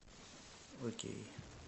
окей